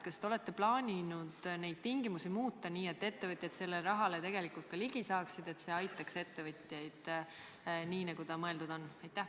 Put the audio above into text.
Kas te olete plaaninud neid tingimusi muuta nii, et ettevõtjaid sellele rahale tegelikult ligi saaksid, et see aitaks ettevõtjaid nii, nagu mõeldud on?